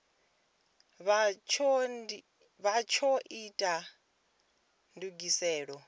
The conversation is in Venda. vha tsho ita ndugiselo dza